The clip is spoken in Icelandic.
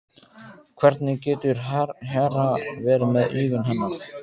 Hvernig getur Hera verið með augun hennar?